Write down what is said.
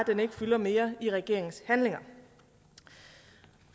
den ikke fylder mere i regeringens handlinger